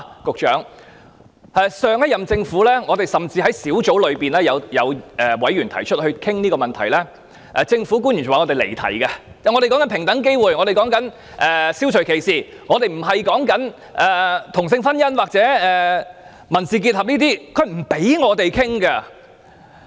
局長，這是事實，上屆政府的官員在出席相關小組委員會會議時，指提出討論這問題的委員離題，以及辯稱所討論的是平等機會，消除歧視，並非同性婚姻或民事結合，不讓委員進行討論。